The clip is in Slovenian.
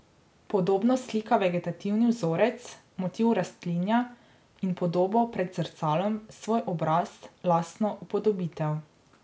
Podobno slika vegetativni vzorec, motiv rastlinja, in podobo pred zrcalom, svoj obraz, lastno upodobitev.